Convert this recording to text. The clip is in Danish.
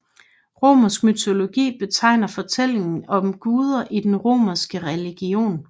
Romersk mytologi betegner fortællinger om guder i den romerske religion